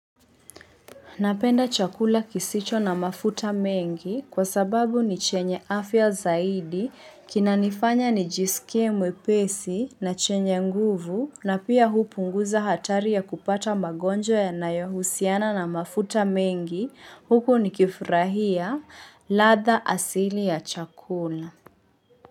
Napenda chakula kisicho na mafuta mengi kwa sababu ni chenye afya zaidi kinanifanya nijisikie mwepesi na chenye nguvu na pia hupunguza hatari ya kupata magonjwa yanayohusiana na mafuta mengi huku nikifurahia ladha asili ya chakula.